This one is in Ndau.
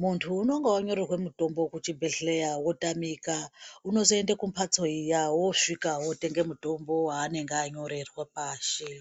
mundu unenge wanyorerwe mutombo wekuchibhedhleya wotamika unozoende kumbatso iyaa wosvika wotenge mutombo wanenge wanyorerwa pashi.